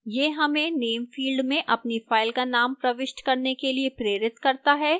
यह हमें name field में अपनी file का name प्रविष्ट करने के लिए प्रेरित करता है